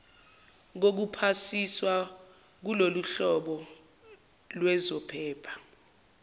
kokuphasiswa kuloluhlobo lwezophepha